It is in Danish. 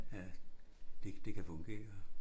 At det det kan fungere